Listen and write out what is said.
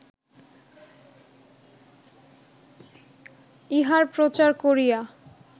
ইহার প্রচার করিয়া